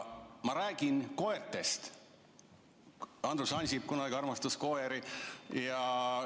Ma räägin koertest, Andrus Ansip kunagi armastas koeri.